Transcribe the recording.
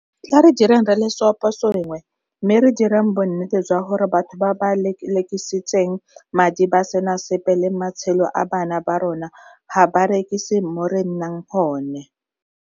Tla re direng re le seoposengwe mme re direng bonnete jwa gore batho ba ba lelekisitseng madi ba sena sepe le matshelo a bana ba rona ga ba rekise mo re nnang gone.